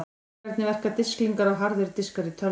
Hvernig verka disklingar og harðir diskar í tölvum?